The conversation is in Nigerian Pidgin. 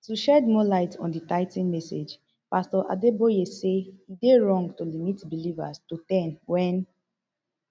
to shed more light on di tithing message pastor adeboye say e dey wrong to limit believers to ten wen